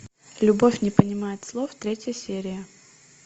любовь не понимает слов третья серия